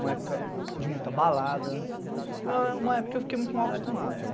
Uma época de muita balada, uma época que eu fiquei muito mal acostumado, né?